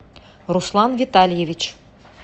руслан витальевич